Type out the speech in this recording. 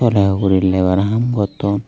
le ugurey labour ham gotton.